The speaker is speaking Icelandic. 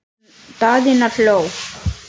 Daðína hló.